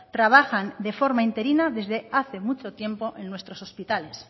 trabajan de forma interina desde hace mucho tiempo en nuestros hospitales